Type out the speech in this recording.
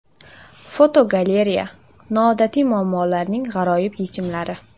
Fotogalereya: noodatiy muammolarning g‘aroyib yechimlari.